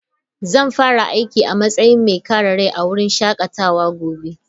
Zan fara aiki a matsayin mai kare rai a wurin shakatawa gobe.